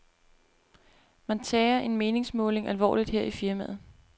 Man tager en meningsmåling alvorligt her i firmaet.